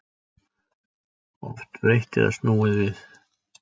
Oft breytt eða snúið við